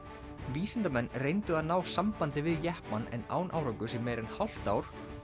vísindamenn reyndu að ná sambandi við jeppann en án árangurs í meira en hálft ár